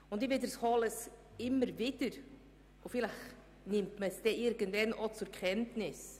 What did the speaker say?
Ich wiederhole es immer wieder, und vielleicht nimmt man es irgendwann auch zur Kenntnis: